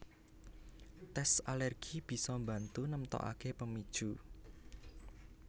Tes alergi bisa mbantu nemtokake pemicu